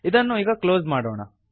ಇದನ್ನು ಈಗ ಕ್ಲೋಸ್ ಮಾಡೋಣ